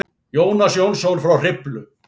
Jónas Jónsson frá Hriflu.